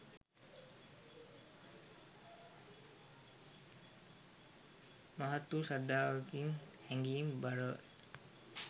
මහත් වූ ශ්‍රද්ධාවකින් හැඟීම් බරව